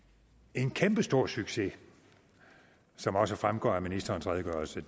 en kæmpestor succes som også fremgår af ministerens redegørelse